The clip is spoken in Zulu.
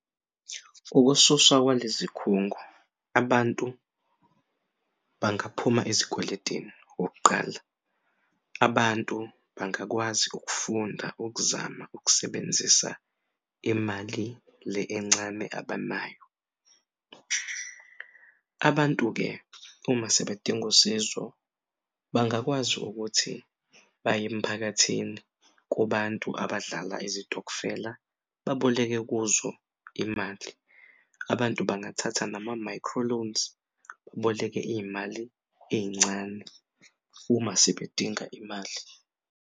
Ukususwa kwalezikhungo abantu bangaphuma ezikweletini okokuqala, abantu bangakwazi ukufunda ukuzama ukusebenzisa imali le encane abanayo. Abantu-ke uma sebedinga usizo bangakwazi ukuthi baye emphakathini kubantu abadlala izitokufela baboleke kuzo imali. Abantu bangathatha nama-microloans baboleke iy'mali ey'ncane uma sebedinga imali.